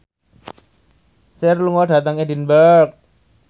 Cher lunga dhateng Edinburgh